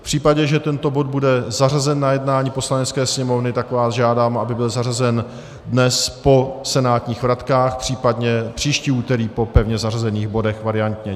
V případě, že tento bod bude zařazen na jednání Poslanecké sněmovny, tak vás žádám, aby byl zařazen dnes po senátních vratkách, případně příští úterý po pevně zařazených bodech variantně.